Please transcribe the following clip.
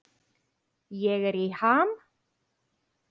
Ég er í ham.